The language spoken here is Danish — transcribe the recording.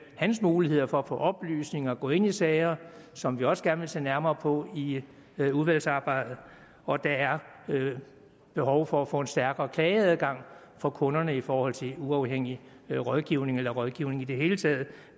hans muligheder for at få oplysninger og gå ind i sager som vi også gerne vil se nærmere på i udvalgsarbejdet og der er behov for at få en stærkere klageadgang for kunderne i forhold til uafhængig rådgivning eller rådgivning i det hele taget